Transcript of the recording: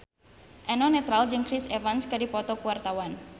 Eno Netral jeung Chris Evans keur dipoto ku wartawan